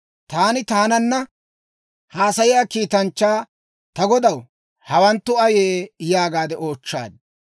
Taani taananna haasayiyaa kiitanchchaa, «Ta godaw, hawanttu ayee?» yaagaade oochchaad.